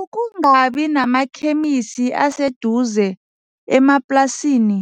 Ukungabi namakhemisi aseduze emaplasini